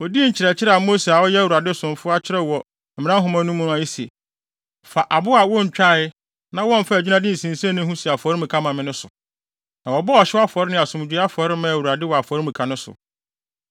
Odii nkyerɛkyerɛ a Mose a ɔyɛ Awurade somfo akyerɛw wɔ Mmara Nhoma no mu a ese, “Fa abo a wontwae na wɔmfaa adwinnade nsinsenii ho si afɔremuka ma me” no so. Na wɔbɔɔ ɔhyew afɔre ne asomdwoe afɔre maa Awurade wɔ afɔremuka no so.